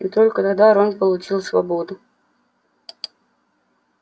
и только тогда рон получил свободу